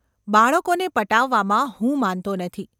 બાળકોને પટાવવામાં હું માનતો નથી.